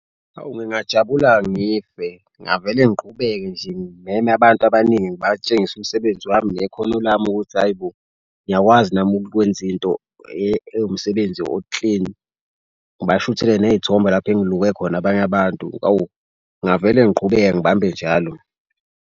Hawu ngingajabula ngife ngingavele ngiqhubeke nje ngimeme abantu abaningi, ngibatshengise umsebenzi wami nekhono lami ukuthi hayi bo. Ngiyakwazi nami ukwenza into ewumsebenzi o-clean. Ngibashuthele ney'thombe lapho ungiluke khona abanye abantu. Awu ngingavele ngiqhubeke ngibambe njalo.